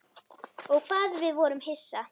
Og hvað við vorum hissa.